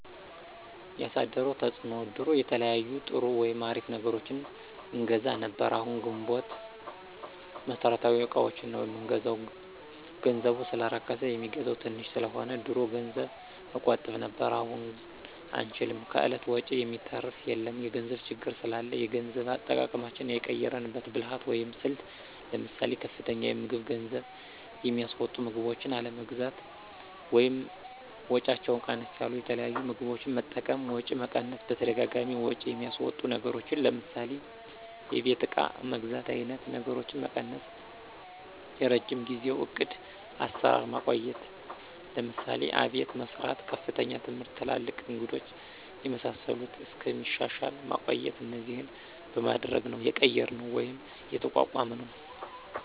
ያሳደረው ተፅዕኖ ድሮ የተለያዩ ጥሩ ወይም አሪፍ ነገሮችን አገዛ ነብር አሁን ግንቦት መሠረታዊ እቃዎችን ነው ምንገዛው ገንዘቡ ሰለረከስ የሚገዛው ተንሽ ሰለሆነ። ድሮ ገንዘብ እቆጥብ ነብር አሁን አንችልም ከእለት ወጭ የሚተራፍ የለም የገንዘብ ችግር ስላላ የገንዘብ አጠቃቀማችን የቀየራንበት ብልህት ወይም ስልት ለምሳሌ፦ ከፍተኛ የምግብ ገንዝብ የሚስወጡ ምግቦችን አለመግዛት ወይም ወጫቸው ቀነስ ያሉት የተለያዩ ምግቦች መጠቀም፣ ወጪ መቀነስ በተደጋጋሚ ወጭ የሚያስወጡ ነገሮችን ለምሳሌ የቤት እቃ መግዛት አይነት ነገሮችን መቀነሰ፣ የረጅም ጊዜው ዕቅድ አሰራር ማቆየት ለምሳሌ፦ አቤት መሰራት፣ ከፍተኛ ትምህርት ትላልቅ እንግዶች የመሳሰሉት እስከሚሻሻል ማቆየት እነዚህን በማድረግ ነው የቀየራነው ወይም የተቋቋምነውደ